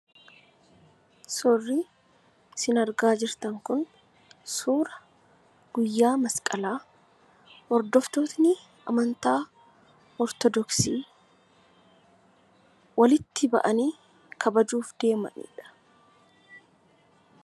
Suurri isin argaa jirtan kun suura guyyaa Masqalaa, hordoftootni amantaa Ortoodoksii walitti ba'anii kabajuuf deemanidha.